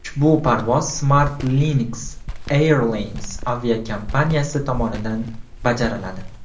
Ushbu parvoz SmartLynx Airlines aviakompaniyasi tomonidan bajariladi.